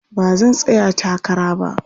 Ba zan tsaya takara ba.